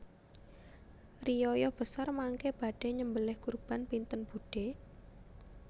Riyaya besar mangke badhe nyembeleh kurban pinten budhe